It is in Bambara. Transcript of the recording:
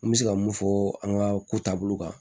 N bɛ se ka mun fɔ an ka ko taabolo kan